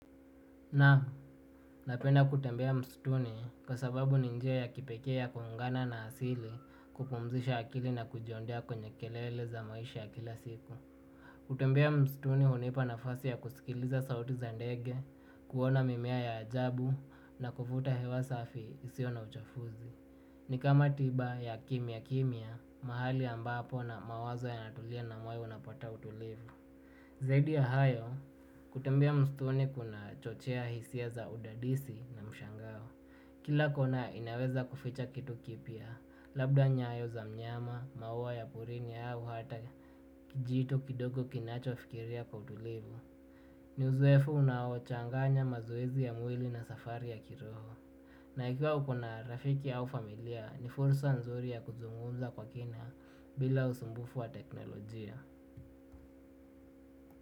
Naam, napenda kutembea mstuni kwa sababu ni njia ya kipekee ya kuuungana na asili kupumzisha akili na kujiondea kwenye kelele za maisha ya kila siku. Kutembea mstuni hunipa nafasi ya kusikiliza sauti za ndege, kuona mimea ya ajabu na kuvuta hewa safi isio na uchafuzi. Ni kama tiba ya kimya kimya, mahali ambapo na mawazo yanatulia na moyo unapata utulivu. Zaidi ya hayo, kutembea msituni kunachochea hisia za udadisi na mshangao. Kila kona inaweza kuficha kitu kipya, labda nyayo za mnyama, maua ya porini au hata kijito kidogo kinachofikiria kwa utulivu. Ni uzoefu unawochanganya mazoezi ya mwili na safari ya kiroho. Na ikiwa ukona rafiki au familia, ni furusa nzuri ya kuzungunza kwa kina bila usumbufu wa teknolojia.